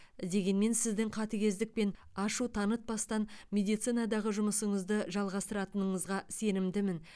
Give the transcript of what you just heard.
дегенмен сіздің қатігездік пен ашу танытпастан медицинадағы жұмысыңызды жалғастыратындығыңызға сенімдімін